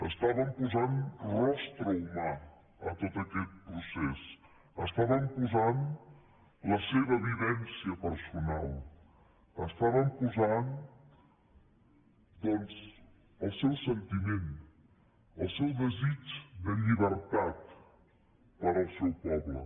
estàvem posant rostre humà a tot aquest procés estaven posant la seva vivència personal estaven posant doncs el seu sentiment el seu desig de llibertat per al seu poble